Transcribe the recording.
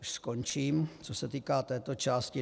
Už skončím, co se týká této části.